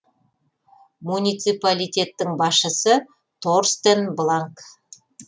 муниципалитеттің басшысы торстен бланк